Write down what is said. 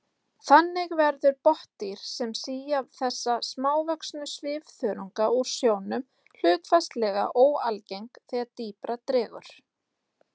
Þannig verða botndýr sem sía þessa smávöxnu svifþörunga úr sjónum hlutfallslega óalgeng þegar dýpra dregur.